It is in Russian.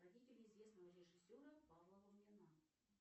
родители известного режиссера павла лунгина